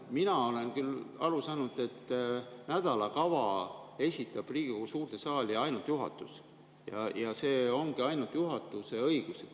Mina olen küll aru saanud, et nädalakava esitab Riigikogu suurde saali juhatus ja see ongi ainult juhatuse õigus.